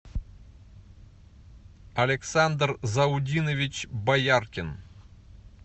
александр заудинович бояркин